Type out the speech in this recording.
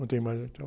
Não tem mais, então.